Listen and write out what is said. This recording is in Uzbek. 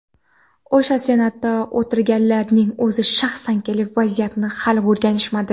O‘sha Senatda o‘tiradiganlarning o‘zi shaxsan kelib vaziyatimizni hali o‘rganishmadi.